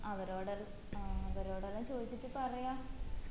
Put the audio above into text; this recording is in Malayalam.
അവരോടെല്ലും ആഹ് അവരോടെല്ലും ചോയിച്ചിട്ട് പറയാ